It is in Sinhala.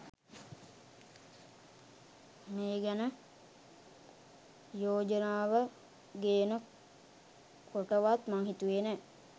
මේගැන යෝජනාව ගේන කොටවත් මං හිතුවෙ නෑ